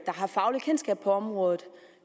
der har fagligt kendskab til området